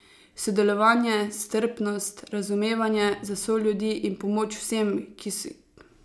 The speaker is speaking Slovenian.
Sodelovanje, strpnost, razumevanje za soljudi in pomoč vsem, ki jo v teh hudih časih potrebujejo.